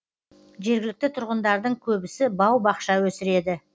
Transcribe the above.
жергілікті тұрғындардың көбісі бау бақша өсіреді